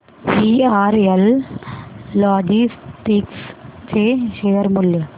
VRL logistics चे share मूल्य